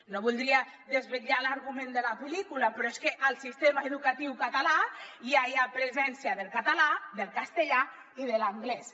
no voldria desvelar l’argument de la pel·lícula però és que al sistema educatiu català ja hi ha presència del català del castellà i de l’anglès